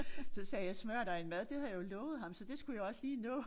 Så sagde jeg smører dig en mad det havde jeg jo lovet ham så det skulle jeg jo også lige nå